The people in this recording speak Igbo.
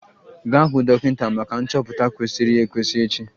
Gaa hụ dọkịta maka nchọpụta kwesịrị ekwesị echi!